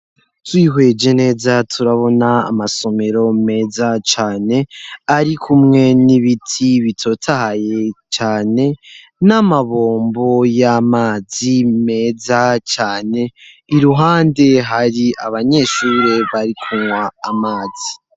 Twihweje neza turabona amasomero meza cane ari kumwe n'ibiti bitotahaye cyane n'amabombo y'amazi meza cane iruhande hari abanyeshuri bari kunywa amazi.